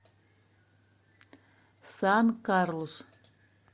сан карлус